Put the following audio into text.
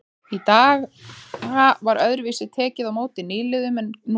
Í þá daga var öðruvísi tekið á móti nýliðum en nú er gert.